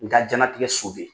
Nka janatigɛ so bɛ